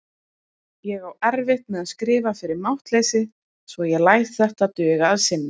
Ég á erfitt með að skrifa fyrir máttleysi svo ég læt þetta duga að sinni.